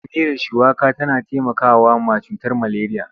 Miyar shuwaka tana taimakawa mai cutar maleriya.